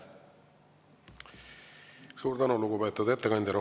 Suur tänu, lugupeetud ettekandja!